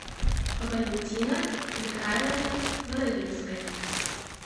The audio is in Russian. валентина михайловна боровинская